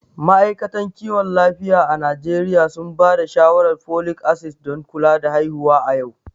Ma’aikatan kiwon lafiya a Najeriya sun ba da shawarar folic acid don kula da haihuwa a yau.